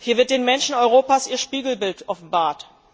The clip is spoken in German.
Hier wird den Menschen Europas ihr Spiegelbild offenbart.